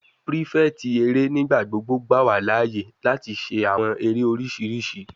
Prefect ere nigbagbogbo gba wa laaye lati ṣe awọn ere oriṣiriṣi